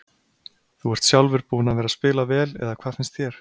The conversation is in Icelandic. Þú ert sjálfur búinn að vera spila vel eða hvað finnst þér?